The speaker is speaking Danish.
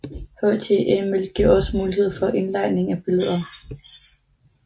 HTML giver også mulighed for indlejring af billeder